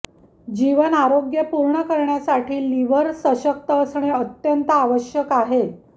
जीवन आरोग्यपूर्ण करण्यासाठी लिव्हर सशक्त असणे अत्यंत आवश्यक आहे